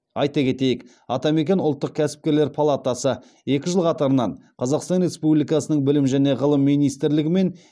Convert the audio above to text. айта кетейік атамекен ұлттық кәсіпкерлер палатасы екі жыл қатарынан қазақстан республикасының білім және ғылым министрлігі мен